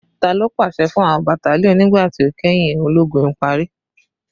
Talo paṣẹ fun awọn battalion nigba ti o kẹhin ologun ipari?